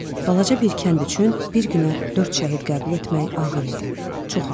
Balaca bir kənd üçün bir günə dörd şəhid qəbul etmək ağır idi, çox ağır.